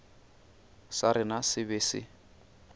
sa rena se be se